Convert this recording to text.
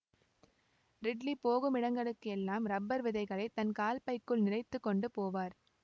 ridley போகும் இடங்களுக்கு எல்லாம் ரப்பர் விதைகளை தன் கால்பைக்குள் நிறைத்துக் கொண்டு போவார்